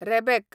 rebec